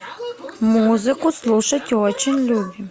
музыку слушать очень любим